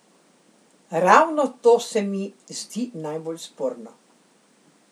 Ravno to se mi zdi najbolj sporno.